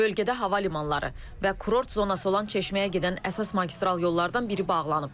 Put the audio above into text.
Bölgədə hava limanları və kurort zonası olan Çeşməyə gedən əsas magistral yollardan biri bağlanıb.